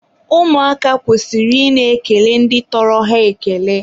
ụmụaka kwesịrị ị na-ekele ndị tọrọ ha ekele.